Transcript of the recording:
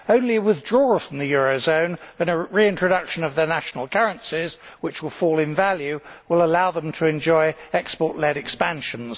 Only withdrawal from the eurozone and a reintroduction of their national currencies, which will fall in value, will allow them to enjoy export led expansions.